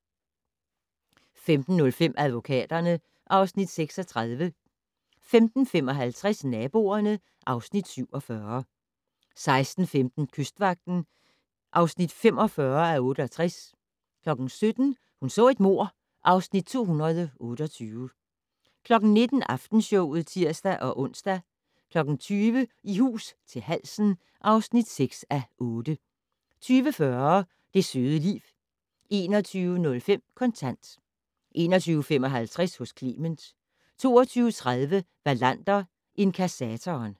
15:05: Advokaterne (Afs. 36) 15:55: Naboerne (Afs. 47) 16:15: Kystvagten (45:68) 17:00: Hun så et mord (Afs. 228) 19:00: Aftenshowet (tir-ons) 20:00: I hus til halsen (6:8) 20:40: Det søde liv 21:05: Kontant 21:55: Hos Clement 22:30: Wallander: Inkassatoren